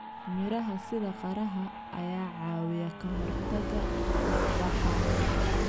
Miraha sida qaraha ayaa caawiya ka hortagga fuuq-baxa.